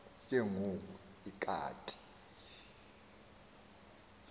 ke ngoku ikati